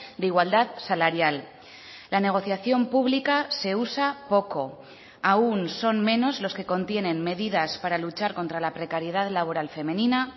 de igualdad salarial la negociación pública se usa poco aún son menos los que contienen medidas para luchar contra la precariedad laboral femenina